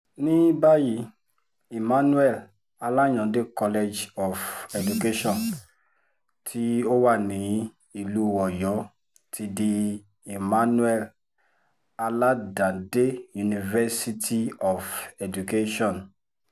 ní báyìí emmanuel alayande college of education tó wà wà nílùú ọ̀yọ́ ti di emmanuel aládàndé university of education